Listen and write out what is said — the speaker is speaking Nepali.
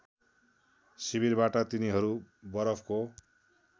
शिविरबाट तिनीहरू बरफको